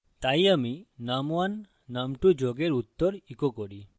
তাই আমি num1 num2 যোগের উত্তর echo করি